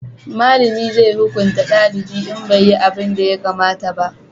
malami zai hukunta dalibi in bai yi abunda ya kamata ba